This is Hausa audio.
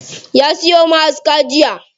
Ya siyo ma'aska jiya.